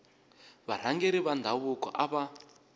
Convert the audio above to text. varhangeri va ndhavuko a va